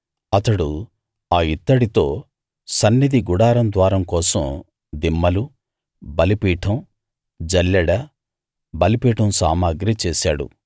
అతడు ఆ ఇత్తడితో సన్నిధి గుడారం ద్వారం కోసం దిమ్మలు బలిపీఠం జల్లెడ బలిపీఠం సామగ్రి చేశాడు